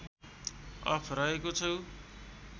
of रहेको छु